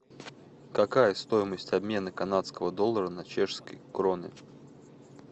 какая стоимость обмена канадского доллара на чешские кроны